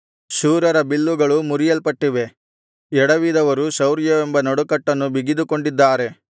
ಶೂರರ ಬಿಲ್ಲುಗಳು ಮುರಿಯಲ್ಪಟ್ಟಿವೆ ಎಡವಿದವರು ಶೌರ್ಯವೆಂಬ ನಡುಕಟ್ಟನ್ನು ಬಿಗಿದುಕೊಂಡಿದ್ದಾರೆ